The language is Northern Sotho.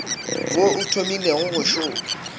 wo o thomilego go šoma